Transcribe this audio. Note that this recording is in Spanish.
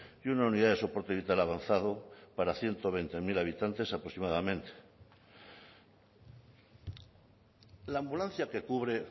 que una unidad de soporte vital avanzado para ciento veinte mil habitantes aproximadamente la ambulancia que cubre